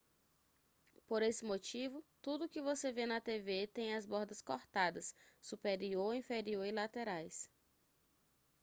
por esse motivo tudo o que você vê na tv tem as bordas cortadas superior inferior e laterais